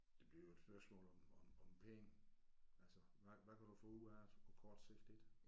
Det bliver jo et spørgsmål om om om penge altså hvad hvad kan du få ud af det på kort sigt ik